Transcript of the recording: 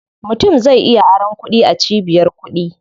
Mutum zai iya aron kuɗi a cibiyar kuɗi.